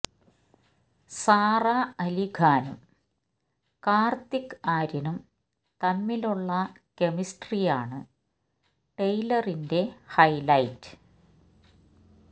Sara Ali ഖാനും കാര്ത്തിക് ആര്യനും തമ്മിലുള്ള കെമിസ്ട്രിയാണ് ട്രെയിലറിന്റെ ഹെെലെെറ്റ്